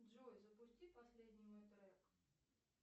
джой запусти последний мой трек